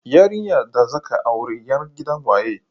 Yarinyar da zaka aura yar gidan waye?